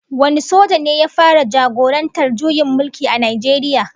Wane soja ne ya fara jagorantar juyin mulki a Najeriya?